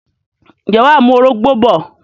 ǹjẹ́ wà á mú orógbó bọ̀?